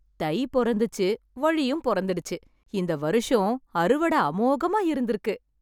தை பிறந்துச்சு வழியும் பொறந்திடுச்சு இந்த வருஷம் அறுவட அமோகமா இருந்திருக்கு